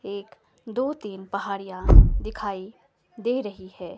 एक दो तीन पहाड़ियां दिखाई दे रही है।